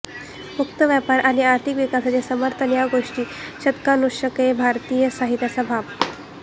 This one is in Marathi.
मुक्त व्यापार आणि आर्थिक विकासाचे समर्थन या गोष्टी शतकानुशतके भारतीय साहित्याचा भाग